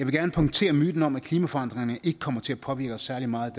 gerne punktere myten om at klimaforandringerne ikke kommer til at påvirke os særlig meget